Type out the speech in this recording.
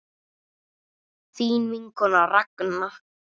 Þín vinkona Ragna.